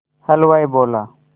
हलवाई बोला